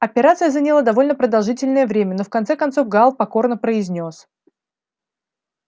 операция заняла довольно продолжительное время но в конце концов гаал покорно произнёс